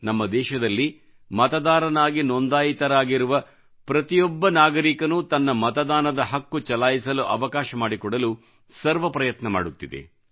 ನಮ್ಮ ದೇಶದಲ್ಲಿ ಮತದಾರನಾಗಿ ನೊಂದಾಯಿತರಾಗಿರುವ ಪ್ರತಿಯೊಬ್ಬ ನಾಗರಿಕನೂ ತನ್ನ ಮತದಾನದ ಹಕ್ಕು ಚಲಾಯಿಸಲು ಅವಕಾಶ ಮಾಡಿಕೊಡಲು ಸರ್ವ ಪ್ರಯತ್ನ ಮಾಡುತ್ತಿದೆ